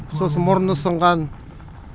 сосын мұрны сынған